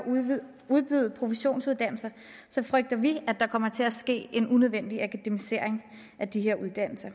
at udbyde professionsuddannelser frygter vi at der kommer til at ske en unødvendig akademisering af de her uddannelser